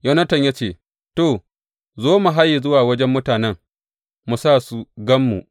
Yonatan ya ce, To, zo mu haye zuwa wajen mutanen, mu sa su gan mu.